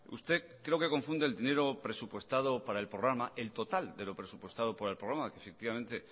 usted creo que confunde el dinero presupuestado para el programa el total de lo presupuestado por el programa que efectivamente